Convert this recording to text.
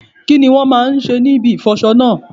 Kí ni wón máa ń ṣe ní ibi ìfọ'ṣọ náà?